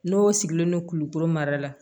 N'o sigilen don kulukoro mara la